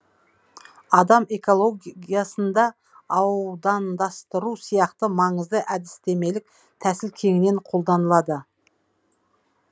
адам экологиясында аудандастыру сияқты маңызды әдістемелік тәсіл кеңінен қолданылады